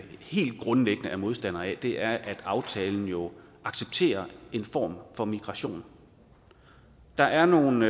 helt grundlæggende er modstandere af er at aftalen jo accepterer en form for migration der er nogle